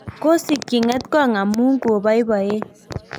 kosikchi ng'etkong' amu ko boiboen